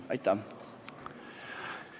Aitäh!